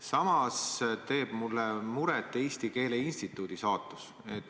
Samas teeb mulle muret Eesti Keele Instituudi saatus.